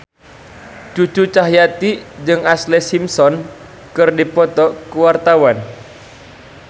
Cucu Cahyati jeung Ashlee Simpson keur dipoto ku wartawan